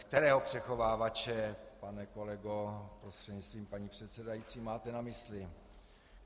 Kterého přechovávače, pane kolego prostřednictvím paní předsedající, máte na mysli?